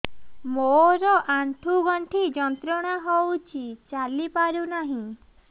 ମୋରୋ ଆଣ୍ଠୁଗଣ୍ଠି ଯନ୍ତ୍ରଣା ହଉଚି ଚାଲିପାରୁନାହିଁ